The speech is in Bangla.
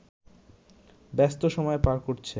ব্যস্ত সময় পার করছে